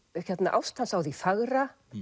ást hans á því fagra